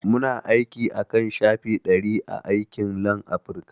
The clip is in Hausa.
Muna aiki akan shafi ɗari a aikin Lanafrica